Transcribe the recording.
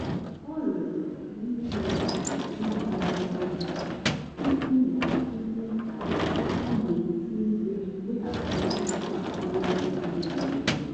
ọ rịọrọ ka e nye ya oge iji gwọọ ya tupu ya atụle ka a ga-esi weghachi ntụkwasị obi mebiri emebi.